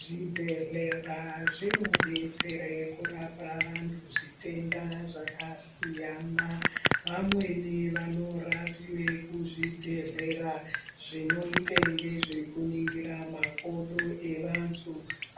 Zvibhedhlera zvibodetsere kurapa vantu zvitenda zvakasiyana. Vamwene vanorapiwe kuzvibhedhlera zvinoyite ngezvekuningire makodo evantu